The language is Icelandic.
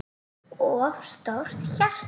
of stórt hjarta